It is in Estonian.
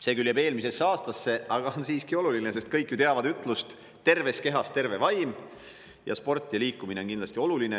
See jääb küll eelmisesse aastasse, aga on siiski oluline, sest kõik ju teavad ütlust "Terves kehas terve vaim" ja sport ja liikumine on kindlasti olulised.